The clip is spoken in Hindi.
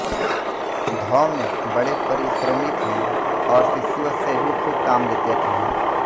धौम्य बड़े परिश्रमी थे और शिष्यों से भी खूब काम लेते थे